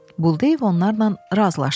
Buldeyev onlarla razılaşdı.